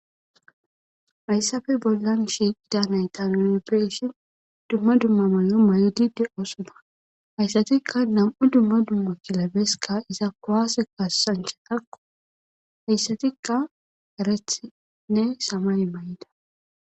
Hayssafe bollan shi qida nay tanoebeshin dumma dumma may7o may7di diqosoma hayssatikka nam7u dumma dumma kilabeska iza kuwaase kasancha takko hayssatikka erethinne samay may7ida